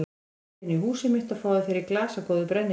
Komdu inn í húsið mitt og fáðu þér í glas af góðu brennivíni.